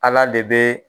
Ala de bɛ